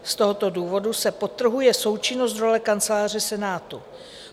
Z tohoto důvodu se podtrhuje součinnost role Kanceláře Senátu.